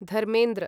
Dharmendra